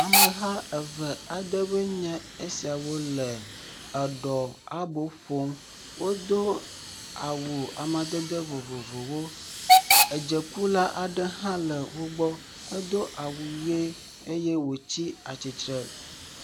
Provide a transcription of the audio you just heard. Ameha eve aɖewoe nye esiawo le eɖɔ abo ƒom, wodo awu amadede vovovowo, edzekula aɖe hã le wo gbɔ, edo awu ʋe eye wòtsi atsitre.